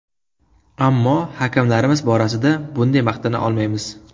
Ammo hakamlarimiz borasida bunday maqtana olmaymiz.